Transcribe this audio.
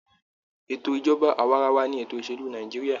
Ètò ìjọba awaarawa ni ètò ìsèlú Nàìjíríà.